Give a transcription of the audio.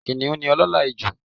Kìnìún ní olóòolà ijù